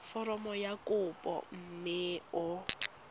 foromo ya kopo mme o